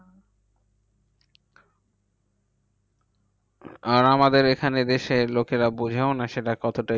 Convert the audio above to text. আর আমাদের এখানে দেশের লোকেরা বোঝেও না সেটা কতটা